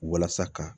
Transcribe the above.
Walasa ka